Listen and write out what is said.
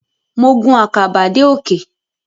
Mo gun àkàbà dé òkè.